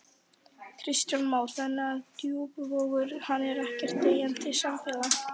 Kristján Már: Þannig að Djúpivogur, hann er ekkert deyjandi samfélag?